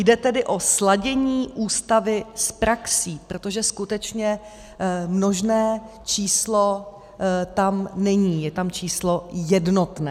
Jde tedy o sladění Ústavy s praxí, protože skutečně množné číslo tam není, je tam číslo jednotné.